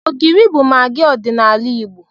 Ogiri bụ magị ọdịnala Igbo.